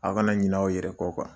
Aw kana ɲinɛ aw yɛrɛ kɔ kuwa.